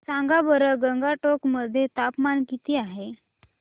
सांगा बरं गंगटोक मध्ये तापमान किती आहे